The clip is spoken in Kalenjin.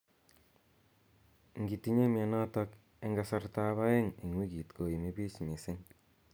Ingitinye mnyenotok eng kasartab aeng eng wikit koimibich missing.